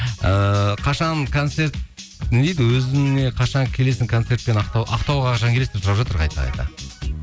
ііі қашан концерт не дейді өзіңе қашан келесің концертпен ақтауға қашан келесің деп сұрап жатыр қайта қайта